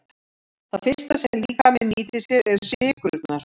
Það fyrsta sem líkaminn nýtir sér eru sykrurnar.